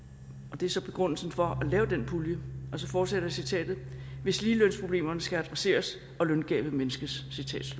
det er så begrundelsen for at lave den pulje og så fortsætter citatet hvis ligelønsproblemerne skal adresseres og løngabet mindskes